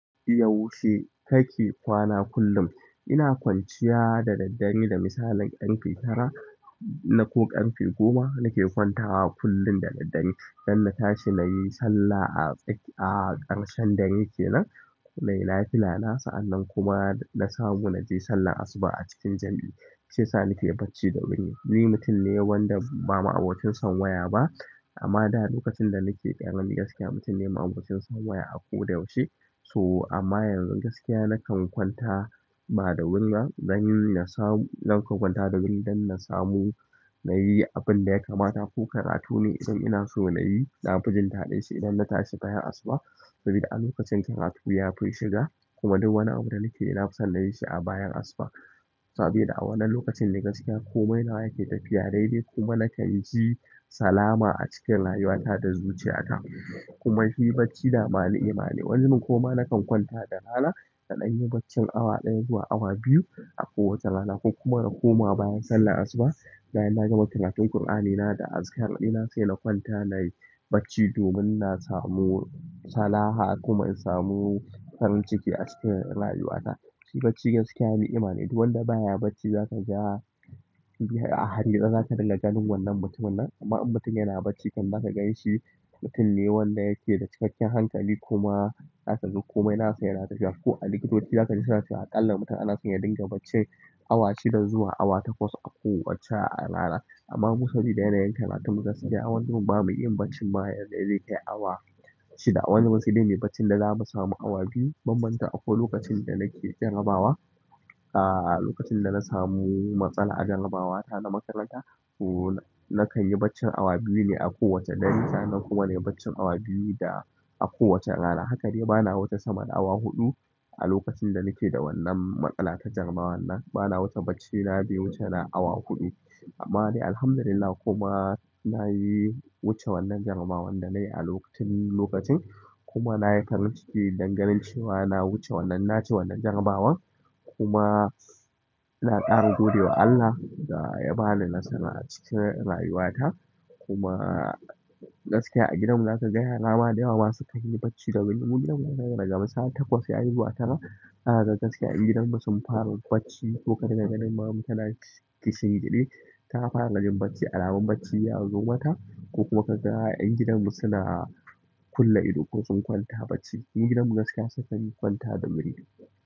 Yaushe kake kwana kullum? Ina kwanciya da daddare da misalin ƙarfe tara na ko ƙarfe goma nake kwantawa kullum da daddare don na tashi na yi sallah a ƙarshen dare kenan. Nai nafila na sa an nan kuma na samu na je sallah asuba a cikin jam'i. Shi ya sa nake bacci da wuri. Ni mutum ne wanda ba ma'abocin son waya ba amma da lokacin da nake ƙarami gaskiya mutum ne ma'abocin son waya a ko da yaushe. So amma yanzu gaskiya nakan kwanta ba da wuri ba don na samu, nakan kwanta da wuri don na samu na yi abin da ya kamata ko karatu ne idan ina so na yi. Nafi jin daɗin shi idan natashi bayan asuba saboda a lokacin karatu yafi shiga kuma duk wani abu da nakeyi nafiso nayi shi a bayan asuba saboda a wannan lokacin ne gaskiya komai nawa yake tafiya daidai kuma nakan ji salama a cikin rayuwata da zuciyata kuma shi bacci dama ni'ima ne. Wani zubin kuma nakan kwanta da rana naɗan yi bacci awa ɗaya zuwa awa biyu a kowace rana ko kuma na koma bayan sallar asuba bayan na gama karatun Kur'anina da azikar ina sai na kwanta na yi bacci domin na samu salaha kuma in samu farin ciki a cikin rayuwata. Shi bacci gaskiya ni'ima ne duk wanda baya bacci zaka ga a hargitse zaka dinga ganin wannan mutumin nan amma in mutum yana bacci kam za ka ganshi mutum ne wanda yake da cikakken hankali kuma zakaga komai nasa yana tafiya ko a likitoci zakaji suna cewa a kalla mutum anaso ya dinga bacci awa shida zuwa awa takwas a kowacce rana amma mu saboda yana yin karatun mu gaskiya. Wani zubin ba mu iya baccin ma yadda zai kai awa shida. Wani ma saide muyi baccin da za mu samu awa biyu. Ban manta akwai lokacin da nake jarabawa, a lokacin da na samu matsala a jarabawata na makaranta, to nakan yi bacci awa biyu ne a kowace dare. Sa annan kuma nai baccin awa biyu da a kowace rana. Hakade bana wuce sama da awa huɗu a lokacin da nake da wannan matsala ta jarabawar nan. Bana wuce bacci na bai wuce na awa huɗu amma de alhamdulillahi kuma nayi wuce wannan jarabawar danai tun lokacin kuma nayi farin ciki danganin cewa na wuce wannan naci wannan jarabawan kuma na ƙara gode wa Allah da ya bani nasara a cikin rayuwata kuma gaskiya a gidanmu za ka ga yara ma da yawama su kanyi bacci da wuri. Mugidan mu za ka ga daga misali takwas ya zuwa tara. Haka gaskiya ƴan gidanmu sun fara bacci ko ka riga ganin maman mu tana ki shingiɗe ta fara jin bacci alamun bacci ya zo mata ko kuma ka ga ƴan gidanmu suna a kulle ido ko sun kwanta bacci. Ƴan gidanmu gaskiya sukan kwanta da wuri.